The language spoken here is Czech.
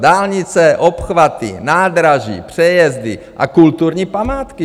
Dálnice, obchvaty, nádraží, přejezdy a kulturní památky!